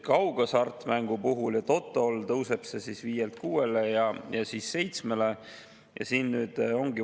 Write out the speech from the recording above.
Kaughasartmängul ja totol tõuseb see 5%‑lt 6%‑le ja siis 7%‑le.